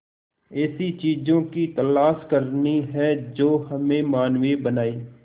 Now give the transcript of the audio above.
ऐसी चीजों की तलाश करनी है जो हमें मानवीय बनाएं